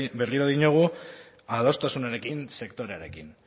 berriro diogu adostasunarekin sektorearekin